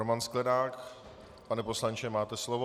Roman Sklenák - pane poslanče, máte slovo.